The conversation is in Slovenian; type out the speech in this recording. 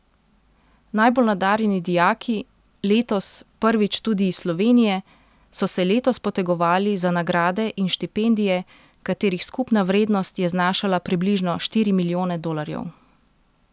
Najbolj nadarjeni dijaki, letos prvič tudi iz Slovenije, so se letos potegovali za nagrade in štipendije, katerih skupna vrednost je znašala približno štiri milijone dolarjev.